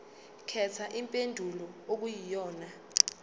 khetha impendulo okuyiyona